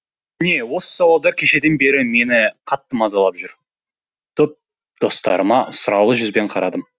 міне осы сауалдар кешеден бері мені қатты мазалап жүр достарыма сұраулы жүзбен қарадым